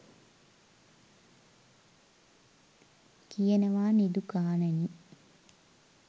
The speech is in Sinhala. කියනවා නිදුකාණෙනි